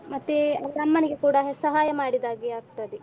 ಮತ್ತೇ ಅವ್ರ ಅಮ್ಮನಿಗೆ ಕೂಡ ಸಹಾಯ ಮಾಡಿದ ಹಾಗೆ ಆಗ್ತದೆ.